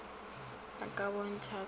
a ka bontšha ka go